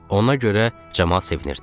Ona görə camaat sevinirdi.